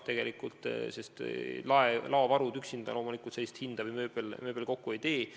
Laovarud üksinda või mööbel loomulikult sellist hinda kokku ei tee.